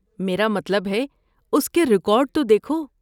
میرا مطلب ہے، اس کے ریکارڈ تو دیکھو۔